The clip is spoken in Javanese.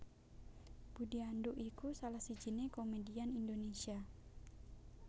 Budi Anduk iku salah sijiné komedian Indonesia